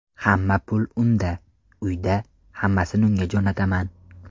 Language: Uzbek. Hamma pul unda, uyda, hammasini unga jo‘nataman.